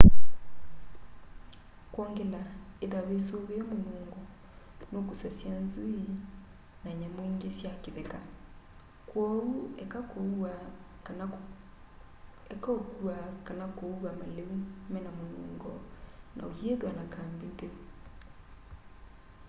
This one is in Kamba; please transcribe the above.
kwongela ithwa wisuvie munungo nukusasya nzui na nyamu ingi sya kitheka kwoou eka ukua kana kuua maliu mena munungo na uyithwa na kambi ntheu